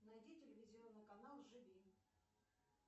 найди телевизионный канал живи